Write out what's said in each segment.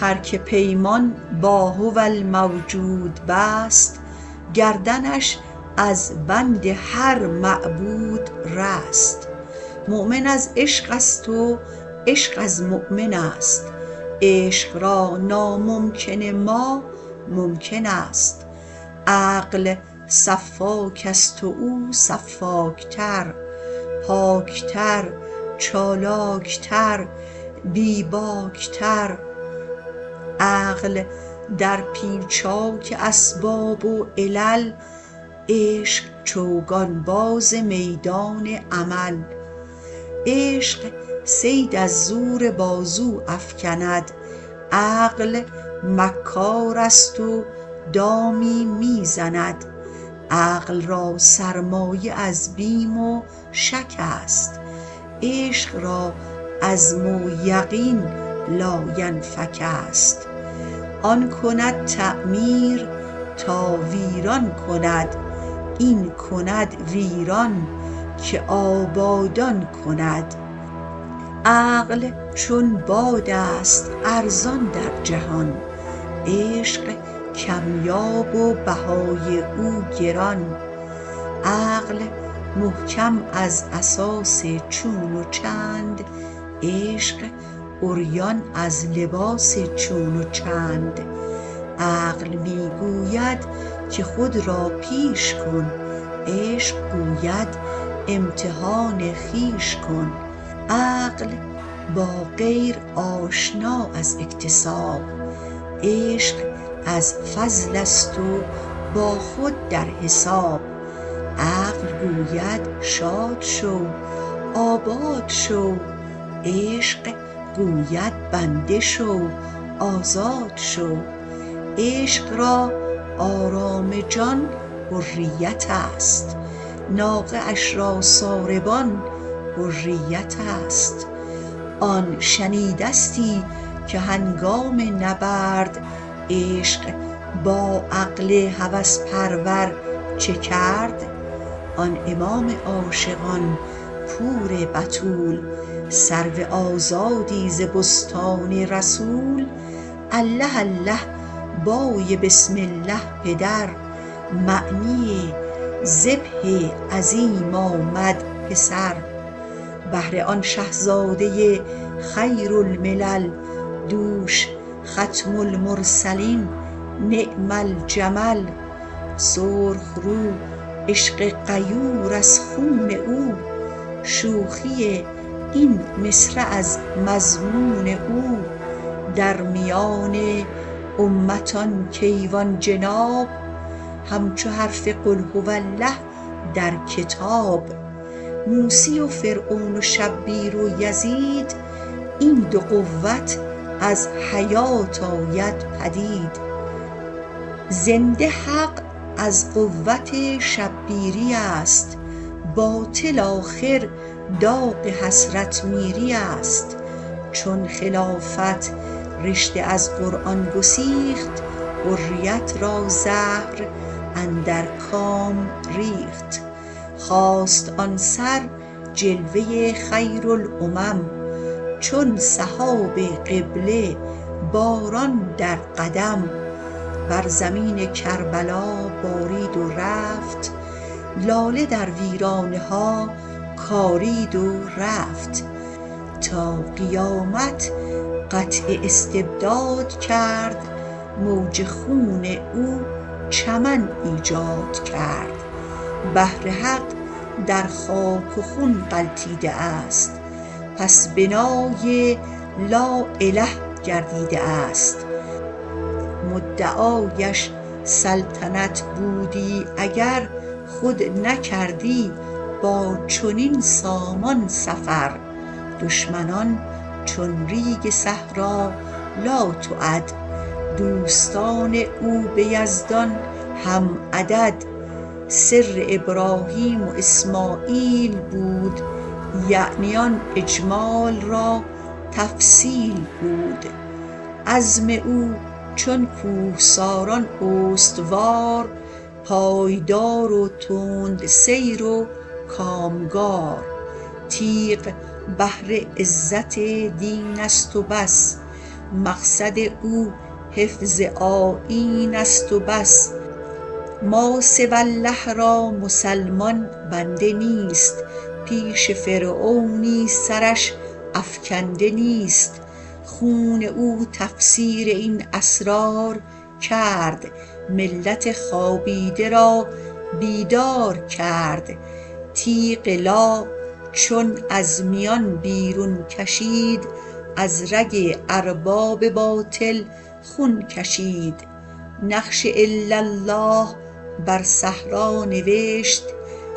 هر که پیمان با هوالموجود بست گردنش از بند هر معبود رست مؤمن از عشق است و عشق از مؤمنست عشق را ناممکن ما ممکن است عقل سفاک است و او سفاک تر پاک تر چالاک تر بیباک تر عقل در پیچاک اسباب و علل عشق چوگان باز میدان عمل عشق صید از زور بازو افکند عقل مکار است و دامی میزند عقل را سرمایه از بیم و شک است عشق را عزم و یقین لاینفک است آن کند تعمیر تا ویران کند این کند ویران که آبادان کند عقل چون باد است ارزان در جهان عشق کمیاب و بهای او گران عقل محکم از اساس چون و چند عشق عریان از لباس چون و چند عقل می گوید که خود را پیش کن عشق گوید امتحان خویش کن عقل با غیر آشنا از اکتساب عشق از فضل است و با خود در حساب عقل گوید شاد شو آباد شو عشق گوید بنده شو آزاد شو عشق را آرام جان حریت است ناقه اش را ساربان حریت است آن شنیدستی که هنگام نبرد عشق با عقل هوس پرور چه کرد آن امام عاشقان پور بتول سرو آزادی ز بستان رسول الله الله بای بسم الله پدر معنی ذبح عظیم آمد پسر بهر آن شهزاده ی خیر الملل دوش ختم المرسلین نعم الجمل سرخ رو عشق غیور از خون او شوخی این مصرع از مضمون او در میان امت ان کیوان جناب همچو حرف قل هو الله در کتاب موسی و فرعون و شبیر و یزید این دو قوت از حیات آید پدید زنده حق از قوت شبیری است باطل آخر داغ حسرت میری است چون خلافت رشته از قرآن گسیخت حریت را زهر اندر کام ریخت خاست آن سر جلوه ی خیرالامم چون سحاب قبله باران در قدم بر زمین کربلا بارید و رفت لاله در ویرانه ها کارید و رفت تا قیامت قطع استبداد کرد موج خون او چمن ایجاد کرد بهر حق در خاک و خون غلتیده است پس بنای لااله گردیده است مدعایش سلطنت بودی اگر خود نکردی با چنین سامان سفر دشمنان چون ریگ صحرا لاتعد دوستان او به یزدان هم عدد سر ابراهیم و اسمعیل بود یعنی آن اجمال را تفصیل بود عزم او چون کوهساران استوار پایدار و تند سیر و کامگار تیغ بهر عزت دین است و بس مقصد او حفظ آیین است و بس ماسوی الله را مسلمان بنده نیست پیش فرعونی سرش افکنده نیست خون او تفسیر این اسرار کرد ملت خوابیده را بیدار کرد تیغ لا چون از میان بیرون کشید از رگ ارباب باطل خون کشید نقش الا الله بر صحرا نوشت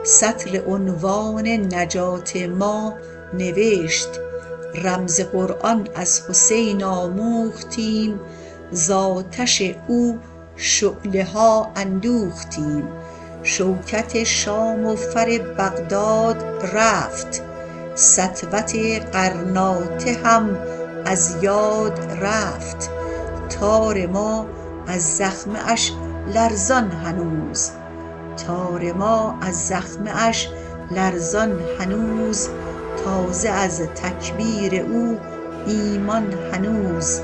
سطر عنوان نجات ما نوشت رمز قرآن از حسین آموختیم ز آتش او شعله ها اندوختیم شوکت شام و فر بغداد رفت سطوت غرناطه هم از یاد رفت تار ما از زخمه اش لرزان هنوز تازه از تکبیر او ایمان هنوز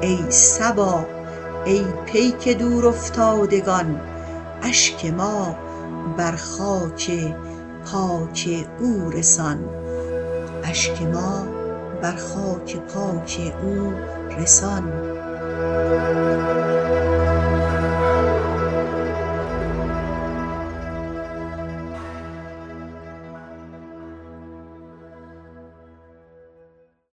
ای صبا ای پیک دور افتادگان اشک ما بر خاک پاک او رسان